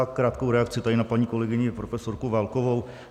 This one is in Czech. Já krátkou reakci tady na paní kolegyni profesorku Válkovou.